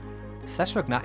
þess vegna